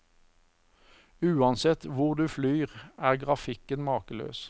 Uansett hvor du flyr, er grafikken makeløs.